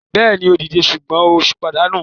Bẹ́ẹ̀ni, ó díje sùgbọ́n ó pàdánù.